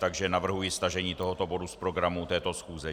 Takže navrhuji stažení tohoto bodu z programu této schůze.